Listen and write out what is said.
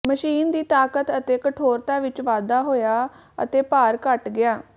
machine ਦੀ ਤਾਕਤ ਅਤੇ ਕਠੋਰਤਾ ਵਿਚ ਵਾਧਾ ਹੋਇਆ ਅਤੇ ਭਾਰ ਘਟ ਗਿਆ